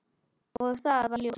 Og það varð ljós.